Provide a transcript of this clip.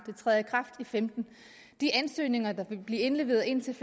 femten de ansøgninger der vil blive indleveret indtil